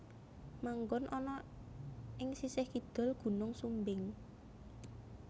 Manggon ana ing sisih kidul Gunung Sumbing